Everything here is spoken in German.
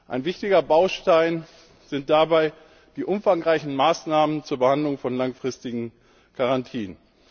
Ein wichtiger Baustein sind dabei die umfangreichen Maßnahmen zur Behandlung von langfristigen Garantien.